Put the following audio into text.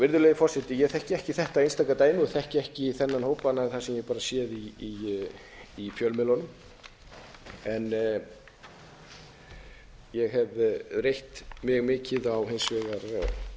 virðulegi forseti ég þekki ekki þetta einstaka dæmi og þekki ekki þennan hóp annað en það sem ég hef bara séð í fjölmiðlunum ég hef reitt mikið hins vegar á